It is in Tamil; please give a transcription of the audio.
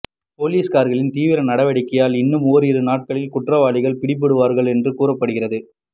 போலீசார்களின் தீவிர நடவடிக்கையால் இன்னும் ஓரிரு நாட்களில் குற்றவாளிகள் பிடிபடுவார்கள் என்று கூறப்படுகிறது